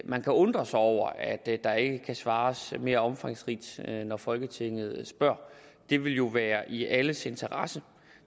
man kan undre sig over at der ikke kan svares mere omfangsrigt når folketinget spørger det ville jo være i alles interesse